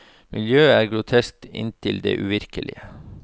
Miljøet er grotesk inntil det uvirkelige.